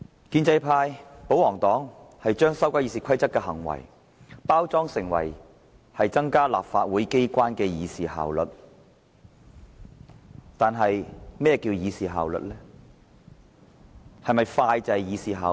建制派把修改《議事規則》包裝成增加立法會議事效率的舉動，但何謂"議事效率"？